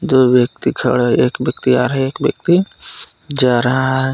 दो व्यक्ति खड़े एक व्यक्ति आ रहा है एक व्यक्ति जा रहा है।